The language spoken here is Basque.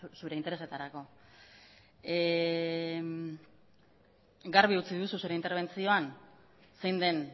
zure interesetarako garbi utzi duzu zure interbentzioan zein den